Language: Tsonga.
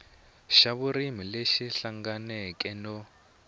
xa vurimi lexi hlanganeke no